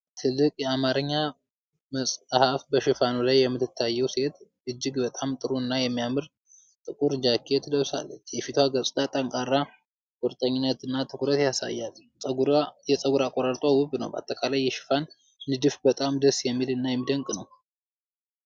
ትልቅ የአማርኛ መጽ በሽፋኑ ላይ የምትታየው ሴት እጅግ በጣም ጥሩ እና የሚያምር ጥቁር ጃኬት ለብሳለች። የፊቷ ገጽታ ጠንካራ ቁርጠኝነት እና ትኩረት ያሳያል። የፀጉር አበጣጠሯ ውብ ነው፤ በአጠቃላይ የሽፋኑ ንድፍ በጣም ደስ የሚል እና የሚደንቅ ነው።